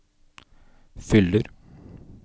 fyller